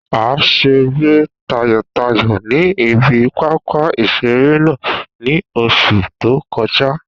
A seré tayọ̀tayọ̀ ní ibi pápá ìseré náà ní oṣù tó kọjá